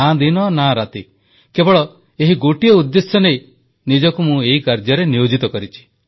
ନା ଦିନ ନା ରାତି କେବଳ ଏହି ଗୋଟିଏ ଉଦ୍ଦେଶ୍ୟ ନେଇ ନିଜକୁ ମୁଁ ଏହି କାର୍ଯ୍ୟରେ ନିୟୋଜିତ କରିଛି